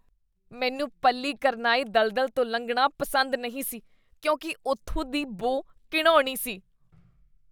ਮੈਨੂੰ ਪੱਲੀਕਰਨਾਈ ਦਲਦਲ ਤੋਂ ਲੰਘਣਾ ਪਸੰਦ ਨਹੀਂ ਸੀ ਕਿਉਂਕਿ ਉੱਥੋਂ ਦੀ ਬੂ ਘਿਣਾਉਣੀ ਸੀ।